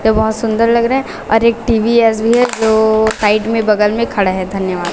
ये बहोत सुंदर लग रहा है और एक टी_वी_एस भी है जो साइड में बगल में खड़ा है धन्यवाद।